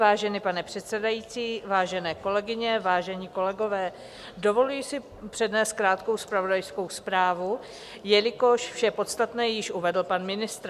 Vážený pane předsedající, vážené kolegyně, vážení kolegové, dovoluji si přednést krátkou zpravodajskou zprávu, jelikož vše podstatné již uvedl pan ministr.